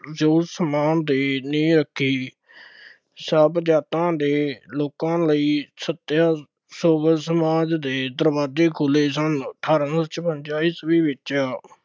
ਜੋ ਸਮਾਜ ਦੀ ਨੀਂਹ ਰੱਖੀ, ਸਭ ਜਾਤਾਂ ਦੇ ਲੋਕਾਂ ਲਈ ਸੱਤਿਆ ਸਮਾਜ ਦੇ ਦਰਵਾਜ਼ੇ ਖੁੱਲ੍ਹੇ ਸਨ, ਅਠਾਰਾਂ ਸੌ ਛਪੰਜ਼ਾ ਈਸਵੀ ਵਿੱਚ